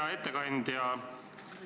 Hea ettekandja!